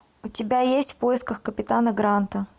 у тебя есть в поисках капитана гранта